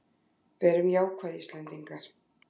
Verum jákvæð Íslendingar!